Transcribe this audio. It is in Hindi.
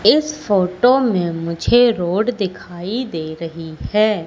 इस फोटो में मुझे रोड दिखाई दे रही है।